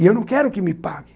E eu não quero que me paguem.